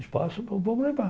Espaço, então vamos levar.